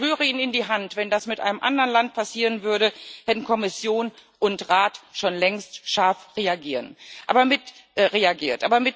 Ich schwöre Ihnen in die Hand Wenn das mit einem anderen Land passieren würde, hätten Kommission und Rat schon längst scharf reagiert.